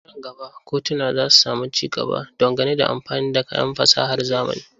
Nan gaba kotuna za su sami ci gaba don gane da amfani da kayan fasahar zamani.